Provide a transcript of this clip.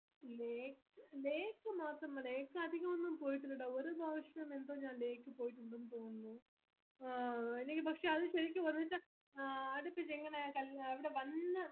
lake lake പോയിട്ടുണ്ടെന്ന് തോന്നുന്നു പക്ഷെ അത് ശെരിക്കും പറഞ്ഞച്ച ആ അടുപ്പിച് എങ്ങനെ ഇവിടെ വന്ന്